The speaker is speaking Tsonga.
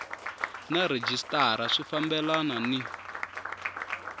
na rhejisitara swi fambelana ni